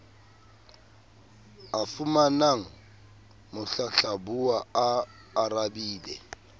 a fumanang mohlahlabuwa a arabile